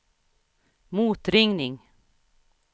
motringning